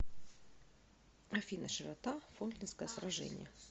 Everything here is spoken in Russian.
афина широта фолклендское сражение